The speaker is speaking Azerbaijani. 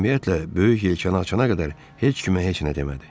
Ümumiyyətlə, böyük yelkanı açana qədər heç kimə heç nə demədi.